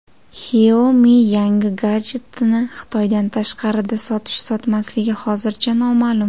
Xiaomi yangi gadjetini Xitoydan tashqarida sotish-sotmasligi hozircha noma’lum.